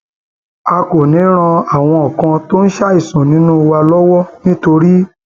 a kò ní í ran àwọn kan tó ń ṣàìsàn nínú wa lọwọ nítorí